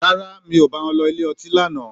Rárá, mi ò bá wọn lọ ilé ọtí lánàá.